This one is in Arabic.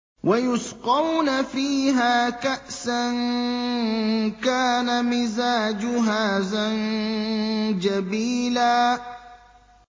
وَيُسْقَوْنَ فِيهَا كَأْسًا كَانَ مِزَاجُهَا زَنجَبِيلًا